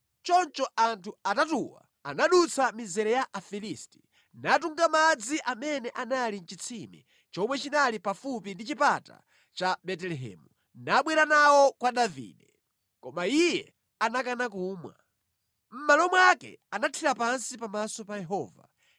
Choncho anthu atatuwa anadutsa mizere ya Afilisti, natunga madzi amene anali mʼchitsime chomwe chinali pafupi ndi chipata cha ku Betelehemu nabwera nawo kwa Davide. Koma iye anakana kumwa. Mʼmalo mwake anathira pansi pamaso pa Yehova.